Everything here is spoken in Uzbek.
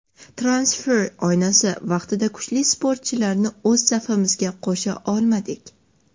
Transfer oynasi vaqtida kuchli futbolchilarni o‘z safimizga qo‘sha olmadik.